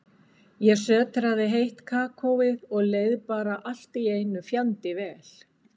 Ég sötraði heitt kakóið og leið bara allt í einu fjandi vel.